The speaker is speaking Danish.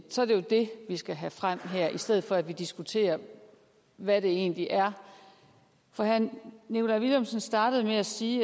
så er det jo det vi skal have frem her i stedet for at diskutere hvad det egentlig er herre nikolaj villumsen startede med at sige